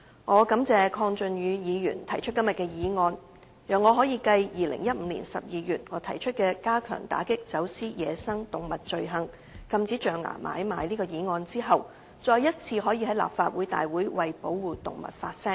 我感謝鄺俊宇議員提出今天的議案，讓我可以繼於2015年12月提出"加強打擊走私野生動物罪行"有關禁止象牙買賣的議案後，再次在立法會會議為保護動物發聲。